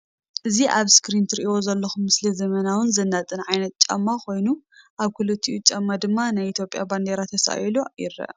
እዚ ኣብ እስክሪን እትሪእዎ ዘለኩም ምስሊ ዘመናውን ዘናጥን ዓይነት ጫማ ኮይኑ ኣብቲ ክልቲኡ ጫማ ድማ ናይ ኢትዮጵያ ባንደራ ተሳኢሉ ይረአ።